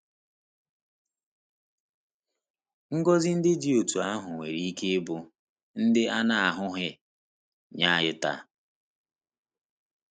Ngọzi ndị dị otú ahụ nwere ike ịbụ “ndị a na-ahụghị” nye anyị taa.